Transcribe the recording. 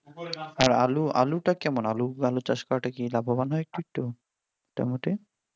হ্যাঁ আলুটা কেমন আলু চাষ আলুটা চাষ করা কি লাভবান হয় একটু একটু টমেটো